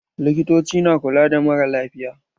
Likitoci na kula da maralafiya.